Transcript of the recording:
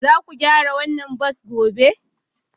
Za ku gyara wannan bas gobe?